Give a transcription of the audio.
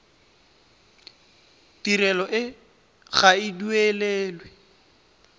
tirelo e ga e duelelwe